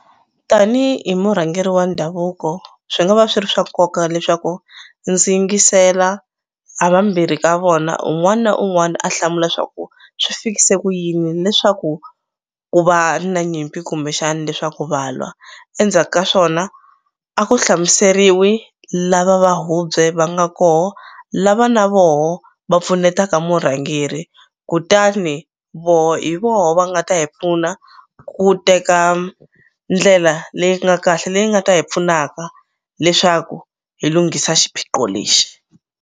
Tanihi murhangeri wa ndhavuko swi nga va swi ri swa nkoka leswaku ndzi yingisela ha vambirhi ka vona un'wani na un'wani a hlamula swa ku swi fikise ku yini leswaku ku va na nyimpi kumbexani leswaku va lwa endzhaka swona a ku hlamuseriwi lava va hubye va nga koho lava na voho va pfunetaka murhangeri kutani voho hi voho va nga ta hi pfuna ku teka ndlela leyi nga kahle leyi nga ta hi pfunaka leswaku hi lunghisa xiphiqo lexi.